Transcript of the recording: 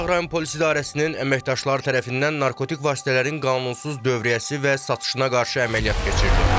Qaradağ rayon Polis İdarəsinin əməkdaşları tərəfindən narkotik vasitələrin qanunsuz dövriyyəsi və satışına qarşı əməliyyat keçirilib.